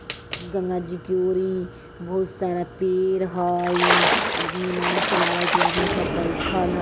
गंगा जी की ओरी बहुत सारा पेड़ हई आदमी नाव चेलावत हई आदमी सब बैठल --